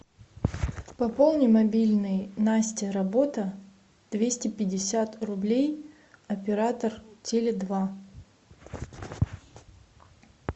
пополни мобильный настя работа двести пятьдесят рублей оператор теле два